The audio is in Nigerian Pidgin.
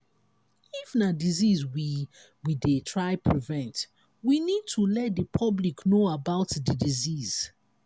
if na disease we we dey try prevent we need to let di public know about di disease